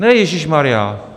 - Ne ježíšmarjá.